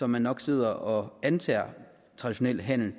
man nok sidder og antager traditionel handel